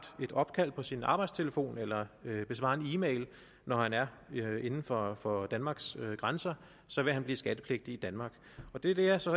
et opkald på sin arbejdstelefon eller besvarer en e mail når han er inden for for danmarks grænser vil han blive skattepligtig i danmark det det er så